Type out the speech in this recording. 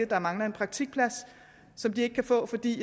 der mangler en praktikplads som de ikke kan få fordi